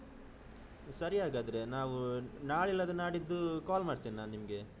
ಸರಿ ಹಾಗಾದ್ರೆ ನಾವು ನಾಳೆ ಇಲ್ಲಾದ್ರೆ ನಾಡಿದ್ದು ಕಾಲ್ ಮಾಡ್ತೇನೆ ನಾನು ನಿಮ್ಗೆ.